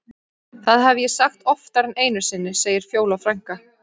Það hef ég sagt oftar en einu sinni, segir Fjóla frænka.